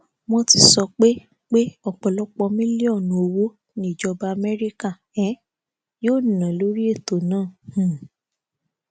wọn ti sọ pé pé ọpọlọpọ mílíọnù owó ni ìjọba amẹríkà um yóò ná lórí ètò náà um